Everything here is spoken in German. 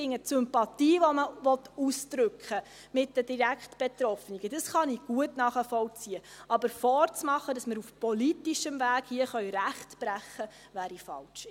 Die Sympathie mit den direkt Betroffenen, die man ausdrücken will, kann ich gut nachvollziehen, aber vorzumachen, dass wir hier auf politischem Weg Recht brechen können, wäre falsch.